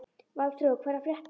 Valþrúður, hvað er að frétta?